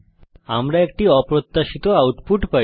আমরা একটি অপ্রত্যাশিত আউটপুট পাই